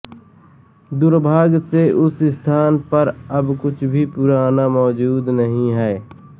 दुर्भाग्य से उस स्थान पर अब कुछ भी पुराना मौजूद नहीं है